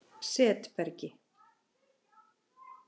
Setbergi